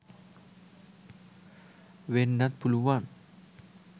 වෙන්නත් පුළුවන්.